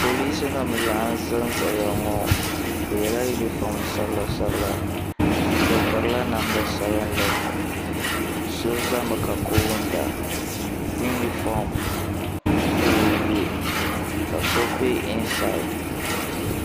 Polisi nima n laɣim zanzaya ŋɔ bɛ yela yunifom sabila sabila bɛ pirila namda sabinli so zami ka koona yunifom ka o ye ka so be insaari.